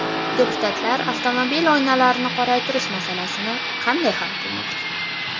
Deputatlar avtomobil oynalarini qoraytirish masalasini qanday hal qilmoqchi ?